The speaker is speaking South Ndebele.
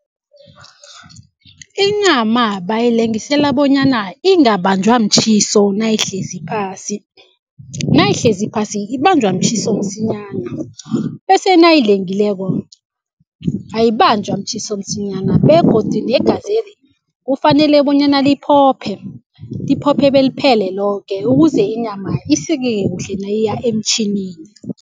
Inyama bayilengisela bonyana ingabanjwa mtjhiso nayihlezi phasi. Nayihlezi phasi ibanjwa mtjhiso msinyana bese nayilengileko, ayibanjwa mtjhiso msinyana begodu negazeli kufanele bonyana liphophe, liphophe beliphele loke ukuze inyama isikeke kuhle nayiya emtjhinini.